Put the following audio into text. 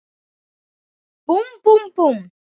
Búmm, búmm, búmm.